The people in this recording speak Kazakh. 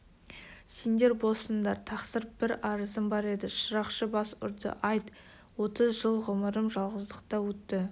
сендер боссыңдар тақсыр бір арызым бар еді шырақшы бас ұрды айт отыз жыл ғұмырым жалғыздықта өтті